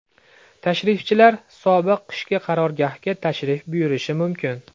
Tashrifchilar sobiq qishki qarorgohga tashrif buyurishi mumkin.